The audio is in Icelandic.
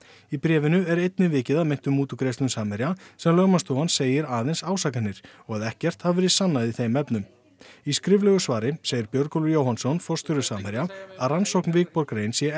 í bréfinu er einnig vikið að meintum mútugreiðslum Samherja sem lögmannsstofan segir aðeins ásakanir og að ekkert hafi verið sannað í þeim efnum í skriflegu svari segir Björgólfur Jóhannsson forstjóri Samherja að rannsókn Wikborg rein sé